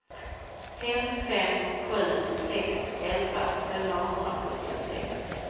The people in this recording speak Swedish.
fem fem sju sex elva fyrahundrasjuttiosex